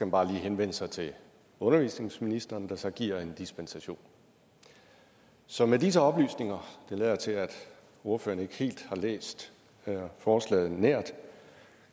bare lige henvende sig til undervisningsministeren der så giver en dispensation så med disse oplysninger det lader til at ordføreren ikke helt har læst forslaget nært